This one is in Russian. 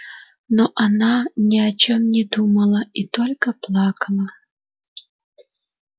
но она ни о чём не думала и только плакала